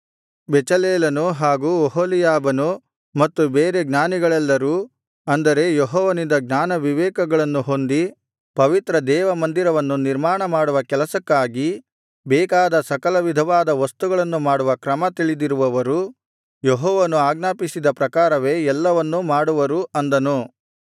ಬೆಚಲೇಲನು ಹಾಗೂ ಒಹೋಲೀಯಾಬನು ಮತ್ತು ಬೇರೆ ಜ್ಞಾನಿಗಳೆಲ್ಲರು ಅಂದರೆ ಯೆಹೋವನಿಂದ ಜ್ಞಾನವಿವೇಕಗಳನ್ನು ಹೊಂದಿ ಪವಿತ್ರ ದೇವಮಂದಿರವನ್ನು ನಿರ್ಮಾಣ ಮಾಡುವ ಕೆಲಸಕ್ಕಾಗಿ ಬೇಕಾದ ಸಕಲವಿಧವಾದ ವಸ್ತುಗಳನ್ನು ಮಾಡುವ ಕ್ರಮ ತಿಳಿದಿರುವವರು ಯೆಹೋವನು ಆಜ್ಞಾಪಿಸಿದ ಪ್ರಕಾರವೇ ಎಲ್ಲವನ್ನೂ ಮಾಡುವರು ಅಂದನು